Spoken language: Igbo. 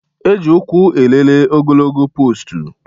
E ji ụkwụ elele ogologo poostu